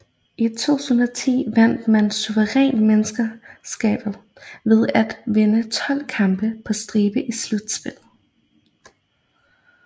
I 2010 vandt man suverænt mesterskabet ved at vinde 12 kampe på stribe i slutspillet